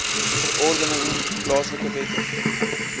verordeninge plaaslike wette